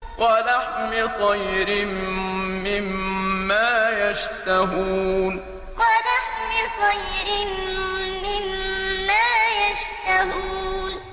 وَلَحْمِ طَيْرٍ مِّمَّا يَشْتَهُونَ وَلَحْمِ طَيْرٍ مِّمَّا يَشْتَهُونَ